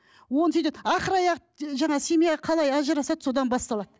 оны сөйтеді ақыры аяғы жаңағы семья қалай ажырасады содан басталады